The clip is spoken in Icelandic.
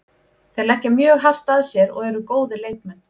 Þeir leggja mjög hart að sér og eru góðir leikmenn.